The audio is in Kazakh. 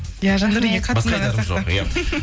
иә жандауренге қатты ұнаған сияқты